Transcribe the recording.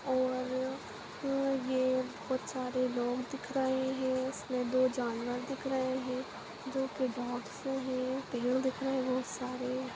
और ये बहुत सारे लोग दिख रहे हैं इसमें दो जानवर दिख रहे हैं जो की डॉग्स है पेड़ दिख रहे हैं बहुत सारे।